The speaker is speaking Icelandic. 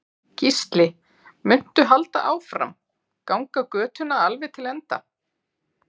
Gísli: Muntu halda áfram, ganga götuna alveg til enda?